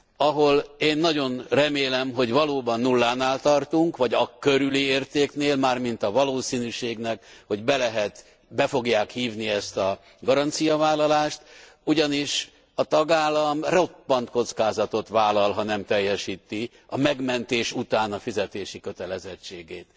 Ahol én nagyon remélem, hogy valóban nullánál tartunk vagy akörüli értéknél, mármint a valószínűségnek, hogy be lehet, be fogják hívni ezt a garanciavállalást, ugyanis a tagállam roppant kockázatot vállal, ha nem teljesíti a megmentés után a fizetési kötelezettségét.